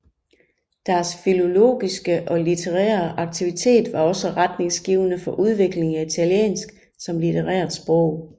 Deres filologiske og litterære aktivitet var også retningsgivende for udviklingen af italiensk som litterært sprog